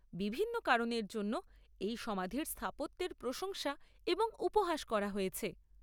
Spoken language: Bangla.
বিভিন্ন কারণের জন্য এই সমাধির স্থাপত্যের প্রশংসা এবং উপহাস করা হয়েছে।